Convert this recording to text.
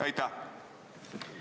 Aitäh!